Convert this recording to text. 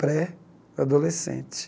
Pré-adolescente.